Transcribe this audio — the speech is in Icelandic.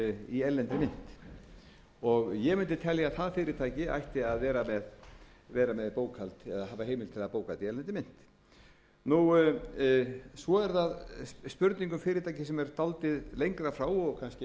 í erlendri mynt ég mundi telja að það fyrirtæki ætti að hafa heimild til að hafa bókhald í erlendri mynt svo er það spurning um fyrirtæki sem eru dálítið lengra frá og kannski eitthvað sem menn